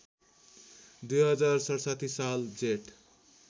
२०६७ साल जेठ